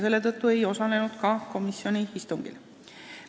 Selle tõttu ei osalenud nad ka komisjoni istungil.